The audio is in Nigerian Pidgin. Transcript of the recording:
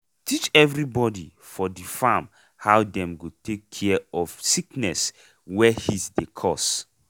teach everybody for di farm how dem go take take care of sickness wey heat dey cause.